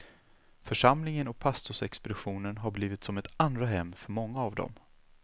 Församlingen och pastorsexpeditionen har blivit som ett andra hem för många av dem.